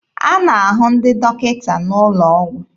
A na-ahụ ndị dọkịta n'ụlọ ọgwụ.